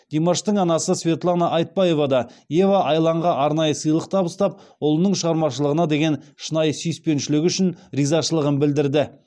димаштың анасы светлана айтбаева да ева айланға арнайы сыйлық табыстап ұлының шығармашылығына деген шынайы сүйіспеншілігі үшін ризашылығын білдірді